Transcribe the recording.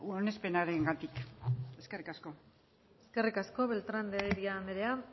onespenarengatik eskerrik asko eskerrik asko beltrán de heredia andrea